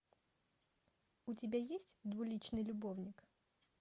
у тебя есть двуличный любовник